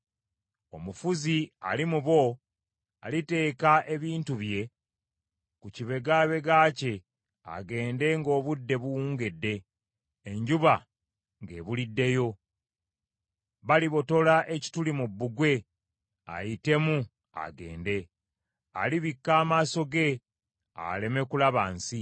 “Omufuzi ali mu bo aliteeka ebintu bye ku kibegabega kye agende ng’obudde buwungedde, enjuba ng’ebuliddeyo, balibotola ekituli mu bbugwe ayitemu agende. Alibikka amaaso ge, aleme kulaba nsi.